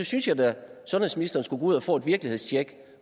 synes jeg da sundhedsministeren skulle gå ud og få et virkelighedstjek